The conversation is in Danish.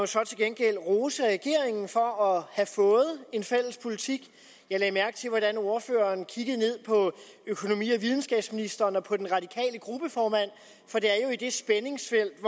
så til gengæld rose regeringen for at have fået en fælles politik jeg lagde mærke til hvordan ordføreren kiggede ned på økonomi og videnskabsministeren og på den radikale gruppeformand for det er jo i det spændingsfelt